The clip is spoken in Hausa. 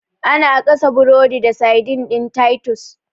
Ana gasa burodi da saidin ɗin titus.